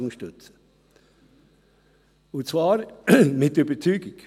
Und zwar unterstütze ich ein Postulat mit Überzeugung.